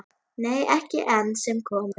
Nei, ekki enn sem komið er.